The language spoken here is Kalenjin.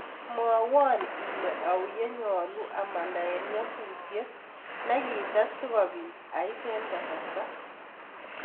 Mwawan ile au yenyalu amanda en nyasutiet nigitet sigopit ait en kasarta